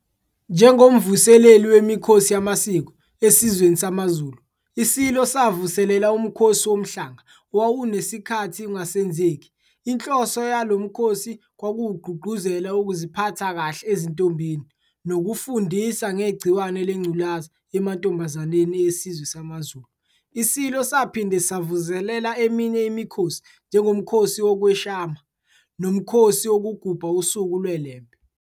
Njengomvuseleli wemikhosi yamasiko esizweni samaZulu, iSilo savuselela uMkhosi woMhlanga owawusunesikhathi ungasenzeki. Inhloso yalo mkhosi kwakuwukugqugquzela ukuziphatha kahle ezintombini nokufundisa ngegciwane leNgculazi emantombazaneni esizwe samaZulu. ISilo saphinde savuselela eminye imikhosi njengoMkhosi wokweshwama noMkhosi wokugubha usuku lweLembe.